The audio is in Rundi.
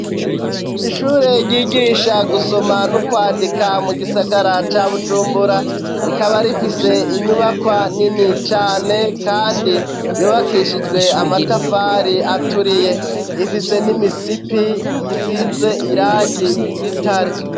Ishure ryigisha gusoma no kwandika mu gisagara ca bujumbura rikaba rifise inyubakwa nini cane kandi yubakishijwe amatafari aturiye ifise n'imisipi isize irangi ry'igitare.